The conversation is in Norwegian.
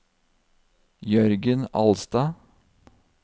Jørgen Alstad